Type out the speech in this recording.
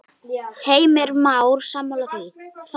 Heimir Már: Sammála því?